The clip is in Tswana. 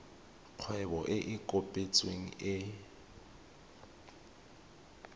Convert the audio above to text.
kgwebo e e kopetsweng e